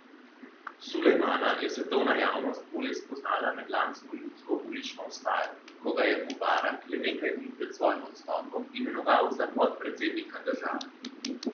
Sulejmana je svetovna javnost bolje spoznala med lansko ljudsko ulično vstajo, ko ga je Mubarak le nekaj dni pred svojim odstopom imenoval za podpredsednika države.